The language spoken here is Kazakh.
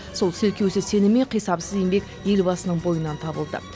сол селкеусіз сенім мен қисапсыз еңбек елбасының бойынан табылды